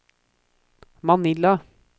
Manila